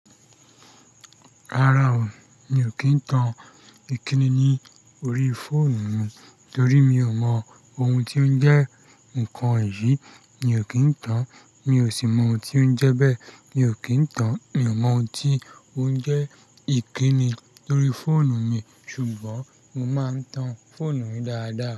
Rárá o, mi ò kí ń tan ìkíni ní orí fóònù mi torí mi ò mọ ohun tí ó ń jẹ́ nǹkan èyí mi ò kí ń tan, mi ò sì mọ ohun tí ó ń jẹ bẹ́ẹ̀ mi ò kí ń tan, mi ò mọ ohun tí ó ń jẹ́ ìkíni lórí fóònù mi. Ṣùgbọ́n mo máa ń tan fóònù mi dáadáa.